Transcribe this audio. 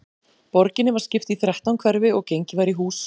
Borginni var skipt í þrettán hverfi og gengið var í hús.